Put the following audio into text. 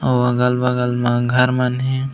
अऊ अगल-बगल म घर मन हे।